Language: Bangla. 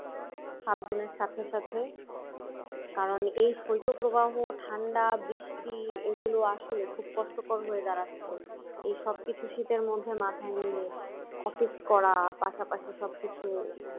ফাল্গুনের সাথে সাথে কারণ এই শৈত্য প্রবাহ ঠান্ডা বৃষ্টি এগুলো আসলে খুব কষ্টকর হয়ে দাঁড়াচ্ছে এই সবকিছু শীতের মধ্যে মাথায় নিয়ে office করা পাশাপাশি সব কিছু